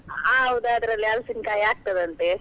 ಹೌದು ಅದ್ರಲ್ಲಿ ಹಲ್ಸಿನ್ಕಾಯ್ ಆಗ್ತದಂತೆ.